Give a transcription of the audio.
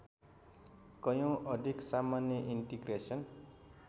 कयौँ अधिक सामान्य इन्टिग्रेसन